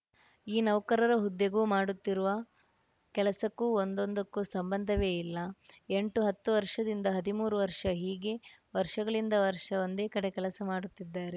ಈ ನೌಕರರ ಹುದ್ದೆಗೂ ಮಾಡುತ್ತಿರುವ ಕೆಲಸಕ್ಕೂ ಒಂದೊಂದಕ್ಕೂ ಸಂಬಂಧವೇ ಇಲ್ಲ ಎಂಟು ಹತ್ತು ವರ್ಷದಿಂದ ಹದಿಮೂರು ವರ್ಷ ಹೀಗೆ ವರ್ಷಗಳಿಂದ ವರ್ಷ ಒಂದೇ ಕಡೆ ಕೆಲಸ ಮಾಡುತ್ತಿದ್ದಾರೆ